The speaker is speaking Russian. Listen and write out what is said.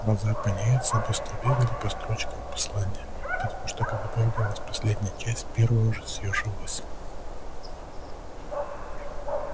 глаза пониетса быстро бегали по строчкам послания потому что когда проявлялась последняя часть первая уже съёживалась